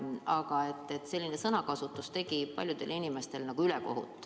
Aga selline sõnakasutus tegi paljudele inimestele ülekohut.